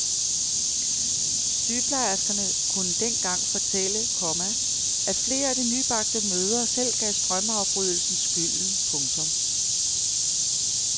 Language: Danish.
Sygeplejerskerne kunne dengang fortælle, komma at flere af de nybagte mødre selv gav strømafbrydelsen skylden. punktum